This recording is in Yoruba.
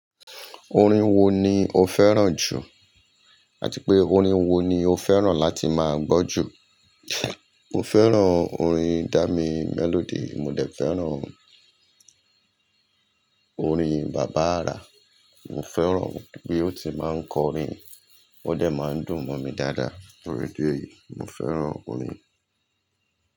Orin wo ni o fẹ́ràn jù? Àti pé orin wo ni o fẹ́ràn láti máa gbọ́ jù? Mo fẹ́ràn orin Dami Melody, mo dẹ̀ fẹ́ràn orin Baba Ara. Mo fẹ́ràn bí ó ti máa ń kọrin, ó dẹ̀ máa ń dùn mọ̀ mi dáadáa. Tori idi eyi, mo fẹ́ràn orin.